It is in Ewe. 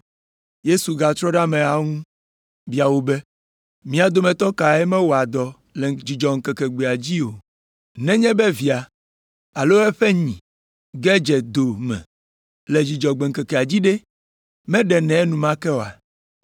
Yesu gatrɔ ɖe ameawo ŋu bia wo be, “Mia dometɔ kae mewɔa dɔ le Dzudzɔgbe ŋkeke dzi o. Nenye be via alo eƒe nyi ge dze do me le Dzudzɔgbe ŋkekea dzi ɖe, meɖenɛ enumake oa?”